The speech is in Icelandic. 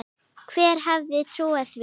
Hver hefði trúað því??